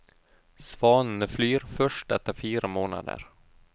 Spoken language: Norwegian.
Svanene flyr først etter fire måneder.